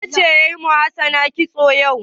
Wace ce ta yi wa Hassana kitso yau?